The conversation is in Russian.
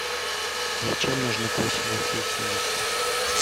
зачем нужны косинусы и синусы